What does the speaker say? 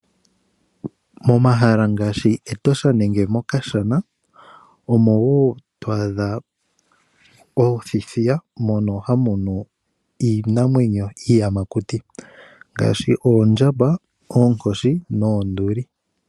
Momahala ngaashi Etosha nenge mOkashana omo wo to adha othithiya mono hamu nu iinamwenyo iiyamakuti. Ngaashi oondjamba, oonkoshi noonduli.